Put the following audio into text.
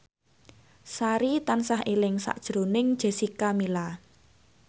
Sari tansah eling sakjroning Jessica Milla